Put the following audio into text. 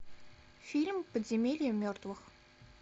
фильм подземелье мертвых